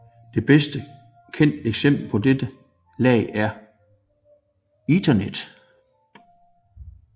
Det bedst kendte eksempel på dette lag er Ethernet